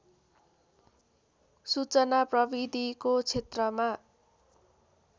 सूचना प्रविधिको क्षेत्रमा